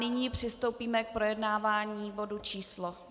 Nyní přistoupíme k projednávání bodu číslo